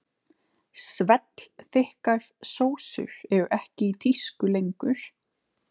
Svellþykkar sósur eru ekki í tísku lengur.